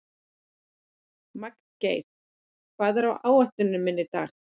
Magngeir, hvað er á áætluninni minni í dag?